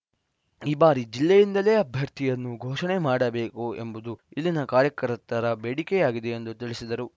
ಈ ಬಾರಿ ಜಿಲ್ಲೆಯಿಂದಲೇ ಅಭ್ಯರ್ಥಿಯನ್ನು ಘೋಷಣೆ ಮಾಡಬೇಕು ಎಂಬುದು ಇಲ್ಲಿನ ಕಾರ್ಯಕರ್ತತರ ಬೇಡಿಕೆಯಾಗಿದೆ ಎಂದು ತಿಳಿಸಿದರು